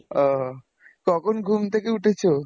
ও, কখন ঘুম থেকে উঠেছ?